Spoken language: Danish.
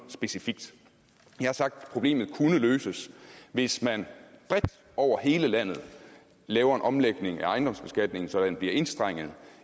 specifikt jeg har sagt at problemet kunne løses hvis man bredt over hele landet laver en omlægning af ejendomsbeskatningen så den bliver enstrenget